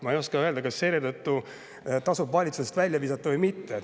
Ma ei oska öelda, kas selle tõttu tasub valitsusest välja visata või mitte.